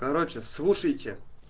короче слушайте